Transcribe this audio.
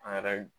An yɛrɛ